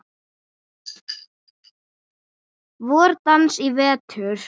VorDans í vetur.